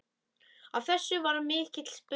Af þessu varð mikill spuni.